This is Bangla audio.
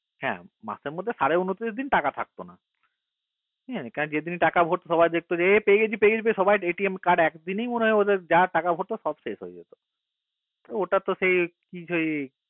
হা মাসের মধ্যে সারে ঊনিশ দিন টাকা থাকতো না ঠিক আছে কারণ যেদিন টাকা ভর্তি সবাই দেখতো পেয়ে গেছি পেয়ে গেছি সবাই card একদিনই মনে হয় ওদের যা টাকা ভরত সব শেষ হয়ে যেত ওটা তো সেই কি কই